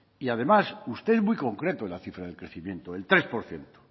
y además usted es muy concreto en la cifra de crecimiento el tres por ciento